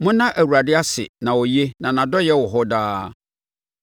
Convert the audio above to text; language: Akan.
Monna Awurade ase na ɔyɛ; na nʼadɔeɛ wɔ hɔ daa.